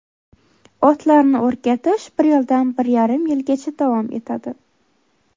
Otlarni o‘rgatish bir yildan bir yarim yilgacha davom etadi.